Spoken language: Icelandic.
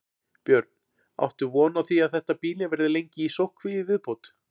Björn: Áttu von á að þetta býli verði lengi í sóttkví í viðbót?